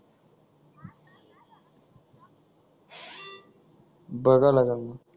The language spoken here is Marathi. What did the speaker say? बघायला लागेल मग